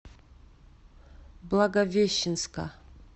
благовещенска